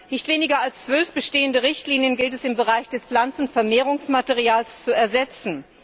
Nicht weniger als zwölf bestehende Richtlinien gilt es, im Bereich des Pflanzenvermehrungsmaterials zu ersetzen.